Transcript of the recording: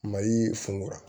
Mali funkura